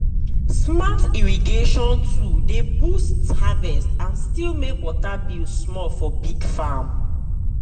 smart irrigation tool dey boost harvest and still make water bill small for big farm.